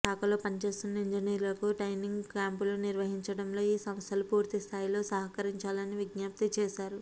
శాఖలో పనిచేస్తున్న ఇంజనీర్లకు ట్రైనింగ్ క్యాంపులు నిర్వ హించడంలో ఈ సంస్థలు పూర్తిస్థాయిలో సహకరించాలని విజ్ఞప్తి చేశారు